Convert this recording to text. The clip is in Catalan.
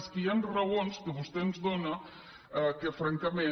és que hi han raons que vostè ens dóna que francament